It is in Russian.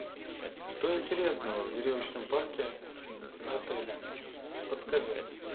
что интересного в веревочном парке отеля подскажи